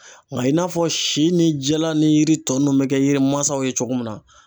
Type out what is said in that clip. Nka i n'a fɔ si ni jala ni yiri tɔ ninnu bɛ kɛ yiri mansaw ye cogo min na